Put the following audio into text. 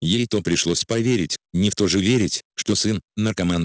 ей-то пришлось поверить не в то же верить что сын наркоман